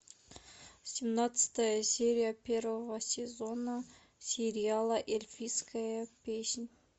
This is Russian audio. семнадцатая серия первого сезона сериала эльфийская песнь